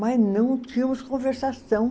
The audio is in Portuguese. Mas não tínhamos conversação.